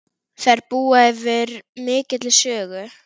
Þær búa yfir mikilli sögu.